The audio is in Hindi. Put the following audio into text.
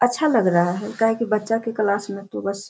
अच्‍छा लग रहा है काहे कि बच्‍चा के क्‍लास में तो बस --